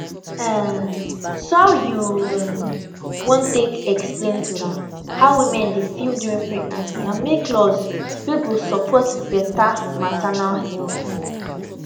um so how you um wan take explain to am how women dey feel during pregnancy and make laws wey go support beta maternal health